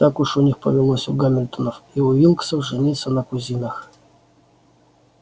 так уж у них повелось у гамильтонов и уилксов жениться на кузинах